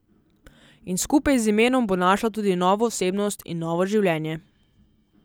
In skupaj z imenom bo našla tudi novo osebnost in novo življenje.